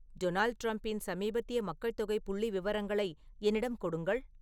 Donald டிரம்பின் சமீபத்திய மக்கள்தொகை புள்ளிவிவரங்களை என்னிடம் கொடுங்கள்